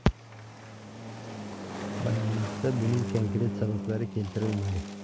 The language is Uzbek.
Bayonotda buning konkret sabablari keltirilmadi.